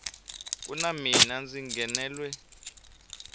ku na mina ndzi nghenelwe